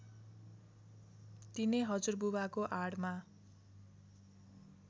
तिनै हजुरबुबाको आडमा